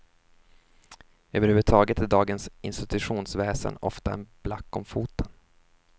Över huvud taget är dagens institutionsväsen ofta en black om foten.